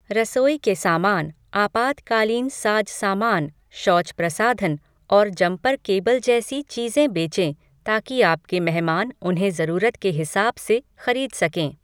रसोई के सामान, आपातकालीन साज सामान, शौच प्रसाधन और जम्पर केबल जैसी चीज़ें बेचें ताकि आपके मेहमान उन्हें जरूरत के हिसाब से खरीद सकें।